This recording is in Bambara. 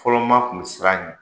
Fɔlɔma kun bɛ sir'a ɲɛ.